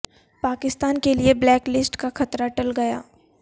پاکستان کے لیے black list کا خطرہ ٹل گیا